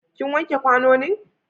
ki wanke kwanonin!